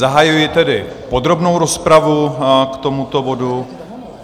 Zahajuji tedy podrobnou rozpravu k tomuto bodu.